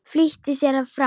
Flýtti sér fram.